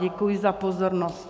Děkuji za pozornost.